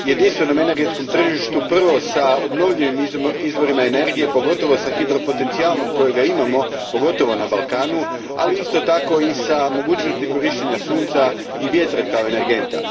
jedinstvenom energetskom tržištu prvo s obnovljivim izvorima energije, pogotovo s hidropotencijalom kojeg imamo, pogotovo na Balkanu, ali isto tako i s mogućnošću korištenja sunca i vjetra kao energenata.